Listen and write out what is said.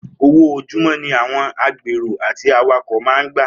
Owó ojúmó̩ ni àwo̩n agbèrò àti awakò̩ máa ń gbà